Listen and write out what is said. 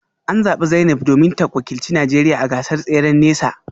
An zabi Zainab ne domin ta wakilci Najeriya a gasar tseren nesa